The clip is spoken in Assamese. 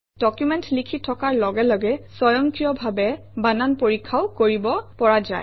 ডকুমেণ্ট লিখি থকাৰ লগে লগে স্বয়ংক্ৰিয়ভাৱে বানান পৰীক্ষাও কৰিব পৰা যায়